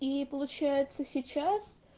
и получается сейчас